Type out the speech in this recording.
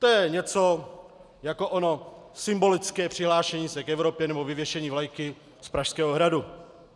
To je něco jako ono symbolické přihlášení se k Evropě nebo vyvěšení vlajky z Pražského hradu.